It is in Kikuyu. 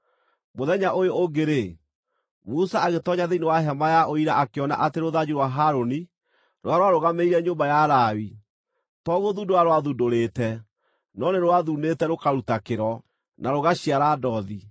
Mũthenya ũyũ ũngĩ-rĩ, Musa agĩtoonya thĩinĩ wa Hema-ya-Ũira akĩona atĩ rũthanju rwa Harũni, rũrĩa rwarũgamĩrĩire nyũmba ya Lawi, to gũthundũra rwathundũrĩte, no nĩ rwathuunĩte rũkaruta kĩro, na rũgaciara ndothi.